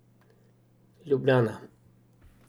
Ljubljana.